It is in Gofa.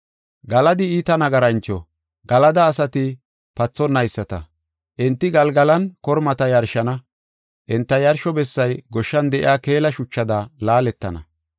Galadi iita nagarancho; Galada asati pathonayisata. Enti Galgalan kormata yarshana. Enta yarsho bessay goshshan de7iya keela shuchada laaletana.